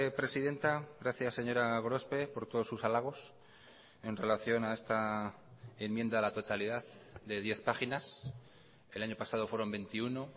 presidenta gracias señora gorospe por todos sus halagos en relación a esta enmienda a la totalidad de diez páginas el año pasado fueron veintiuno